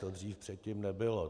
To dřív předtím nebylo.